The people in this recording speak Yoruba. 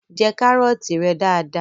Jẹ kárọ̀tí rẹ dada!